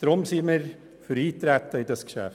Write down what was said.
Deswegen sind wir für Eintreten auf dieses Geschäft.